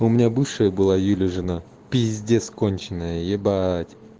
у меня бывшая была юля жена пиздец конченая ебать